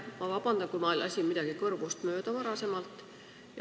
Palun vabandust, kui ma lasin enne midagi kõrvust mööda.